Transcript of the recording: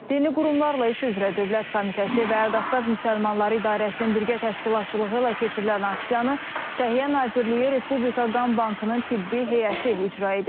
Dini qurumlarla iş üzrə Dövlət Komitəsi və Qafqaz Müsəlmanları İdarəsinin birgə təşkilatçılığı ilə keçirilən aksiyanı Səhiyyə Nazirliyi Respublika Qan Bankının tibbi heyəti icra edir.